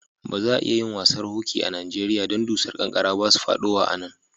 Ba za'a iya yin wasan hoki a Nijeriya dan dusar kankara ba su fadowa a'nan.